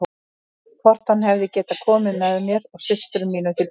Hvort hann hefði getað komið mér og systrum mínum til bjargar.